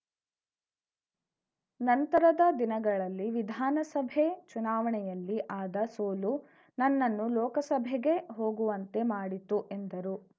ನಂತರದ ದಿನಗಳಲ್ಲಿ ವಿಧಾನಸಭೆ ಚುನಾವಣೆಯಲ್ಲಿ ಆದ ಸೋಲು ನನ್ನನ್ನು ಲೋಕಸಭೆಗೆ ಹೋಗುವಂತೆ ಮಾಡಿತು ಎಂದರು